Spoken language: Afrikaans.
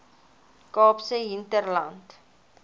kaapse hinterland